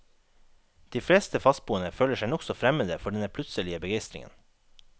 De fleste fastboende føler seg nokså fremmede for denne plutselige begeistringen.